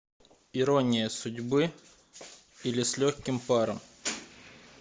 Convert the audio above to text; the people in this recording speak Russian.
ирония судьбы или с легким паром